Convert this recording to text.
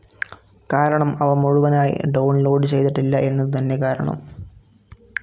കാരണം അവ മുഴുവനായി ഡൌൺ ലോഡ്‌ ചെയ്തിട്ടില്ല എന്നതു തന്നെ കാരണം.